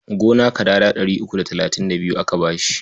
Gona kadada ɗari uku da talatin da biyu aka ba shi.